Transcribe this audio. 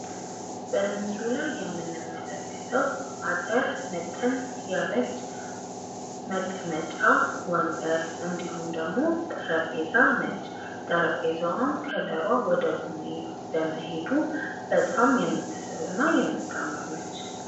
በምስሉ ላይ የምንመለከተው አጠር መጠን ያለች መቀመጫ ወንበር እንዲሁም ደግሞ ጠረጴዛ ነች ። ጠረጴዛዋም ከለሯ ወደ ቡኒ በመሄዱ በጣም የምትስብ እና የምታምር ነች።